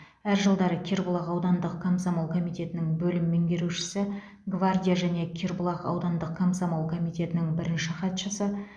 әр жылдары кербұлақ аудандық комсомол комитетінің бөлім меңгерушісі гвардия және кербұлақ аудандық комсомол комитетінің бірінші хатшысы